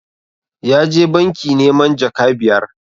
Ya je banki neman jaka biyar